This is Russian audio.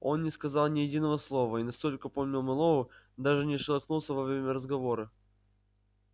он не сказал ни единого слова и настолько помнил мэллоу даже не шелохнулся во время разговора